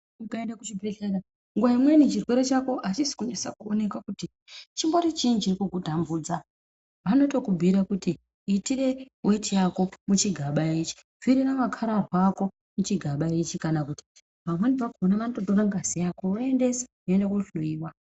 Ukaenda kuchibhehlera pamweni chirwere chako achisi kunasa kuoneka kuti chimbori chiinyi chiri kukutambudza vanotokubhuyira kuti itire weti yako muchigaba ichi, pfirira. makararwa ako muchigaba ichi, kana kuti pamweni pakona vanototore ngazi yako voendesa hino kunohloyiwa.